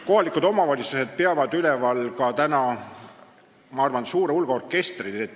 Kohalikud omavalitsused peavad minu teada üleval suurt hulka orkestreid.